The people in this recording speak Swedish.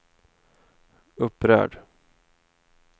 upprörd